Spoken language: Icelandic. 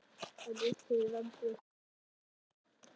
En hver eru ráð Randvers til aðstandanda krabbameinssjúklinga?